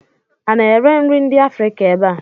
A na-ere nri ndị Afrịka ebe a?